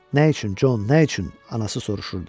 Nə üçün Con, nə üçün anası soruşurdu.